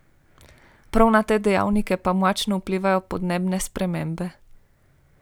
Prav na te dejavnike pa močno vplivajo podnebne spremembe.